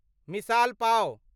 मिसाल पाव